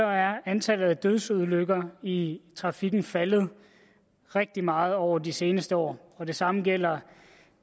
at antallet af dødsulykker i trafikken er faldet rigtig meget over de seneste år og det samme gælder